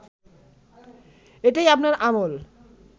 এটাই আপনার আমল